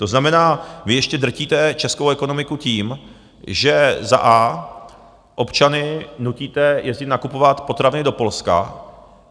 To znamená, vy ještě drtíte českou ekonomiku tím, že za a) občany nutíte jezdit nakupovat potraviny do Polska.